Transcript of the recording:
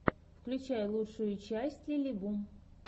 включай лучшую часть лилибу